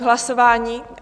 K hlasování?